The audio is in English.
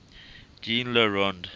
jean le rond